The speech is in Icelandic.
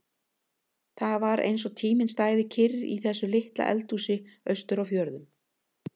Það var eins og tíminn stæði kyrr í þessu litla eldhúsi austur á fjörðum.